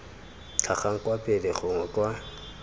tlhagang kwa pele gongwe kwa